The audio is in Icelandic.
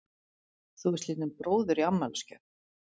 Þú fékkst lítinn bróður í afmælisgjöf.